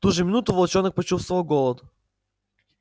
в ту же минуту волчонок почувствовал голод